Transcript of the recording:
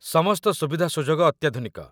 ସମସ୍ତ ସୁବିଧାସୁଯୋଗ ଅତ୍ୟାଧୁନିକ